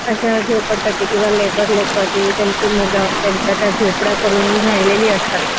अशा झोपडपट्टी किंवा लेबर लोकांची त्यांची मुलं त्या झोपड्या करून उभे राहिलेले असतात